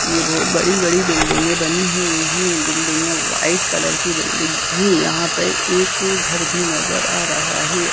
ये बहुत बड़ी बड़ी बिल्डिंगे बनी हुई हे बिल्डिंग व्हाइट कलर की बिल्डिंग भी यहा पर एक घर भी नजर आ रहा हे।